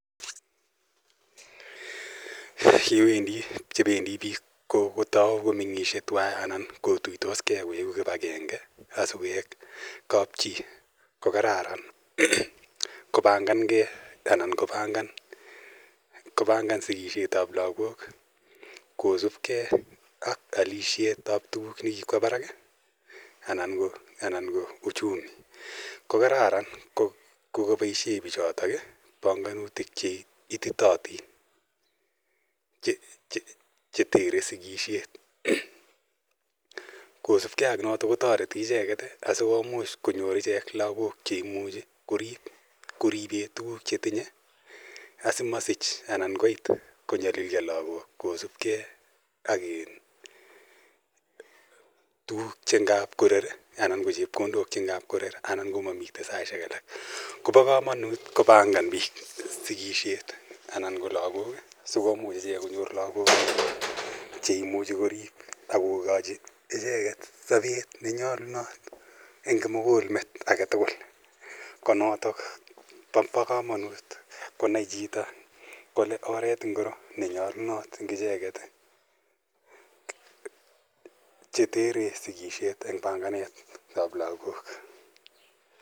Yebendi biik kotou komeng'isie tuan anan kotou koik kibakenge sikoik kap chii kokararan kobanganngei anan kopangan sikisiet ab lagok kosipkei ak olisiet ab tuguk chekiba barak kokararn koboisien bichotok pongonutik cheititotin chetere sikisiet kosibgei ak noto koimuch konyor ichjek lakok cheimuche koribe tuguk chetinye asimonyolilyo lagok akokochi sobet nenyolunot en kimukulmet aketugul ko notok bo kamanut konai chito kole karan oret aino chetere sikisiet ab lagok.